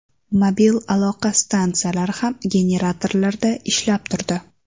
Mobil aloqa stansiyalari ham generatorlarda ishlab turdi.